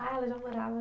Ah, ela já morava.